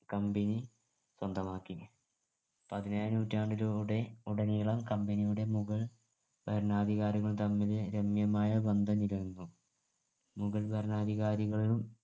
company സ്വന്തമാക്കി പതിനേഴാം നൂറ്റാണ്ടിലൂടെ ഉടനീളം company യുടെ മുഗൾ ഭരണാധികാരികൾ തമ്മിൽ രമ്യമായ ബന്ധം നിലനിന്നു മുഗൾ ഭരണാധികാരികളും